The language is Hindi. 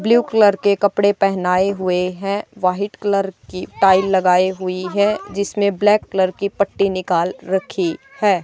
ब्ल्यू कलर के कपड़े पहनाये हुए है व्हाइट कलर की टाइ लगाई हुई है जिसमें ब्लैक कलर की पट्टी निकाल रखी है।